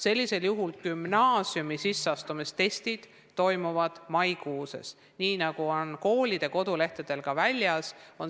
Sellisel juhul toimuvad gümnaasiumi sisseastumistestid maikuus, nii nagu on koolide kodulehtedel ka väljas.